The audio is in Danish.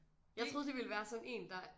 Jeg troede det ville være sådan én der